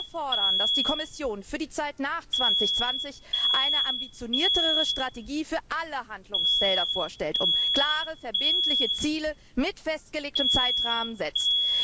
Wir fordern, dass die Kommission für die Zeit nach 2020 eine ambitioniertere Strategie für alle Handlungsfelder vorstellt und klare, verbindliche Ziele mit festgelegten Zeitrahmen setzt.